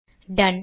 tone